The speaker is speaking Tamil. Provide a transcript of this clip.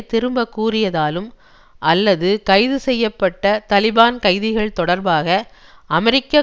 திரும்ப கூறியதாலும் அல்லது கைதுசெய்ய பட்ட தலிபான் கைதிகள் தொடர்பாக அமெரிக்க